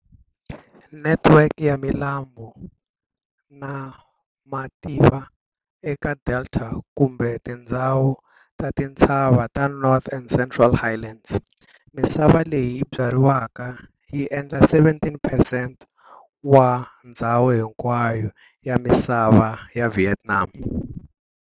Network ya milambu na mativa eka delta kumbe tindzhawu ta tintshava ta North na Central Highlands. Misava leyi byariwaka yi endla 17 percent wa ndzhawu hinkwayo ya misava ya Vietnam.